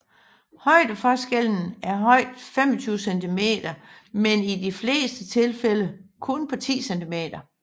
Højdeforskellen er højt 25 cm men i de fleste tilfælde på kun 10 cm